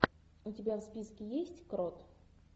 у тебя в списке есть крот